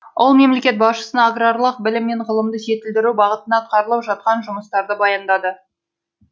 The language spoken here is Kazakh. ол мемлекет басшысына аграрлық білім мен ғылымды жетілдіру бағытында атқарылып жатқан жұмыстарды баяндады